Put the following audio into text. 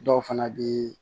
Dɔw fana bɛ